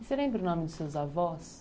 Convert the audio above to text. E você lembra o nome dos seus avós?